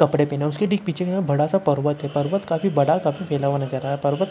कपड़े पहने हुए हैं उसके ठीक पीछे बड़ा सा पर्वत है पर्वत काफी बड़ा और काफी फैला हुआ नजर आ रहा है। पर्वत--